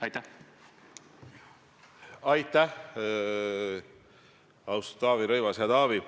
Ja on täiesti kurioosne – täiesti kurioosne –, et seda võitlust rünnatakse kui katset lammutada õigusriiki.